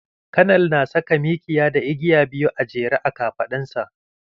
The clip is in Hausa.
Kanal na saka mikiya da igiya biyu a jere a kafaɗan sa.